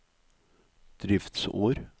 driftsår